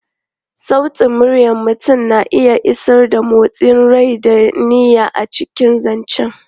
Sautin muryar mutum na iya isar da motsin rai da niyya a cikin zance.